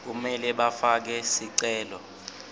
kumele bafake sicelo